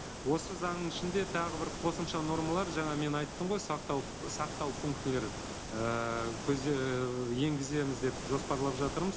осы заңның ішінде тағы бір қосымша нормалар жаңа мен айттым ғой сақтау сақтау пунктілері ііі ііі енгіземіз деп жоспарлап жатырмыз